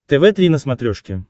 тв три на смотрешке